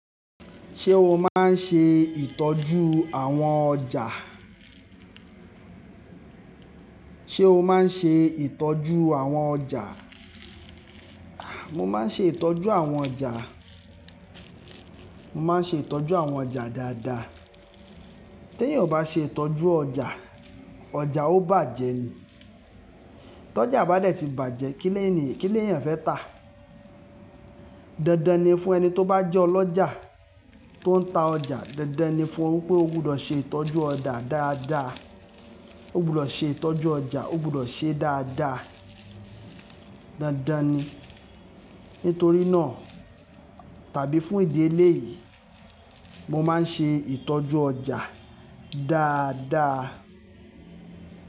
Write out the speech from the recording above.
Ṣé o máa ń ṣe ìtọ́jú àwọn ọjà? O maa n ṣe itọju awon ọja? Mo ma n ṣe itọju àwọn ọjà, mo ma n ṣe itọju àwọn ọjà dáadáa. Tè èèyàn ò bá ṣe ìtọ́jú ọjà, ọjà ó bàjẹ́ ni. Tọjà bá dẹ̀ ti bàjẹ́, kí le èèyàn fẹ́ tà? Dandan ni fún ẹni tí ó bá jẹ́ ọlọ́jà tó ń ta ọjà, dandan ni fún un pé ó gbudọ̀ ṣe ìtọ́jú ọjà dáadáa. Ó gbudọ̀ ṣe ìtọ́jú ọjà, ó gbudọ̀ ṣé dáadáa. Dandan ni. Nítorí náà tàbí fún ìdí eléyìí, mo má n ṣe ìtọ́jú ọjà dáadáa.